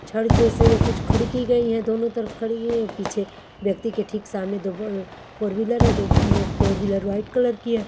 छट जैसे या कुछ खड़ी की गई है दोनों तरफ खड़ी की गई है पीछे व्यक्ति के ठीक सामने दो अ फोर व्हीलर हैं दो no four wheeler white colour की है।